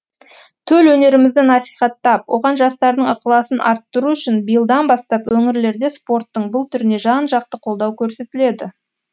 төл өнерімізді насихаттап оған жастардың ықыласын арттыру үшін биылдан бастап өңірлерде спорттың бұл түріне жан жақты қолдау көрсетіледі